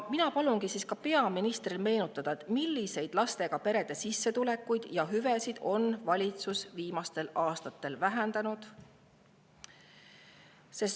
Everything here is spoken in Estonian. Mina palungi peaministril meenutada, milliseid lastega perede sissetulekuid ja hüvesid on valitsus viimastel aastatel vähendanud.